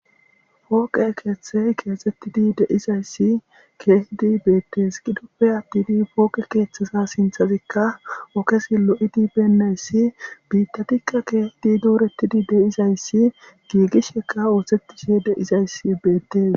Fooqe keethey keexetidi de'izayssi keehidi beetes gidoppe attin fooqe keethezas sinthezika ogezi lo'idi beenaysi biitattika keehidi dooretidi de'izayssi giigisheka oothetishe de'izayssi beetes.